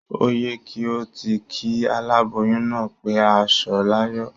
Ó y ẹ kí o ti kí aláboyún náà pé á sọ̀ láyọ̀.